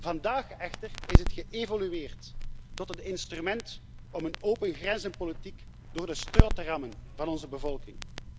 Vandaag echter is het geëvolueerd tot een instrument om een opengrenzenpolitiek door de strot te rammen van onze bevolking.